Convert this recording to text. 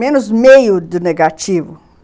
Menos meio do negativo.